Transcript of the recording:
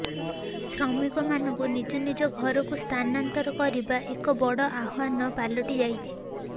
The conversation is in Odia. ଶ୍ରମିକମାନଙ୍କୁ ନିଜ ନିଜ ଘରକୁ ସ୍ଥାନାନ୍ତର କରିବା ଏକ ବଡ ଆହ୍ବାନ ପାଲଟିଯାଇଛି